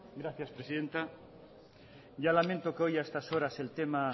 gracias presidenta ya lamento que hoy a estas horas el tema